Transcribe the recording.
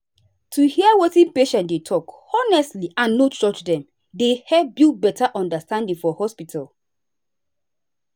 to hear wetin patient dey talk honestly and no judge dem dey help build better understanding for hospital.